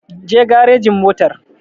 Je garejin motar!